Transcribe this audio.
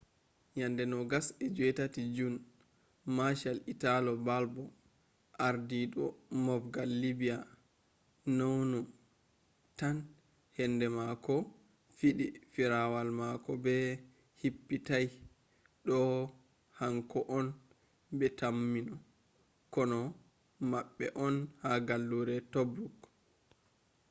yande 28 june marshal italo balbo ardidu mofgal libya nounou tan henbe mako fidi firawal mako be hippitai do hanko’on be taimmi kono mabbe’on ha gallure tobruk